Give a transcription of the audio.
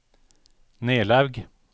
Nelaug